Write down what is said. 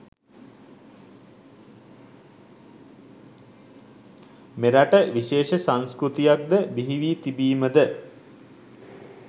මෙරට විශේෂ සංස්කෘතියක් ද බිහිවී තිබීමද